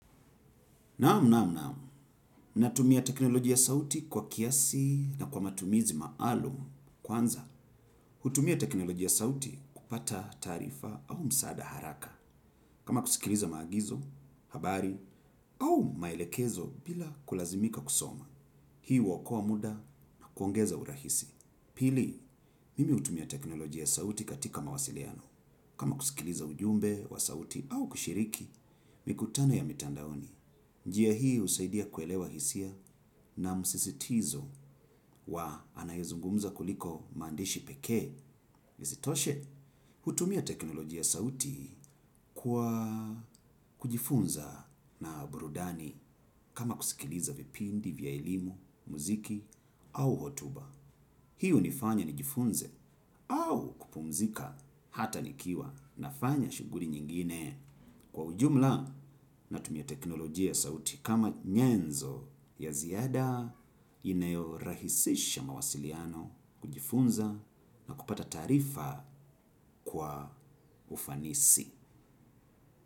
Naamu, naamu, naamu, natumia tekinoloji ya sauti kwa kiasi na kwa matumizi maalum kwanza. Hutumia tekinoloji ya sauti kupata taarifa au msaada haraka. Kama kusikiliza maagizo, habari au maelekezo bila kulazimika kusoma. Hii huokoa muda na kuongeza urahisi. Pili, mimi hutumia teknoloji ya sauti katika mawasiliano. Kama kusikiliza ujumbe wa sauti au kushiriki, mikutano ya mitandaoni. Njia hii husaidia kuelewa hisia na msisitizo wa anayezungumza kuliko maandishi pekee isitoshe. Hutumia teknolojia sauti kwa kujifunza na burudani kama kusikiliza vipindi vya elimu, muziki au hotuba. Hii hunifanya nijifunze au kupumzika hata nikiwa nafanya shughuli nyingine. Kwa ujumla natumia teknolojia ya sauti. Kama nyenzo ya ziada inayorahisisha mawasiliano, kujifunza na kupata taarifa kwa ufanisi.